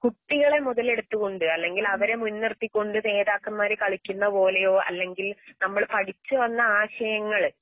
കുട്ടികളെമുതലെടുത്തുകൊണ്ട് അല്ലെങ്കിൽ അവരെമുൻനിർത്തിക്കൊണ്ട് നേതാക്കന്മാർകളിക്കുന്ന പോലെയോ അല്ലെങ്കിൽ നമ്മൾപഠിച്ചുവന്നാശയങ്ങള്